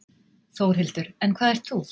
Þórhildur: En hvað ert þú?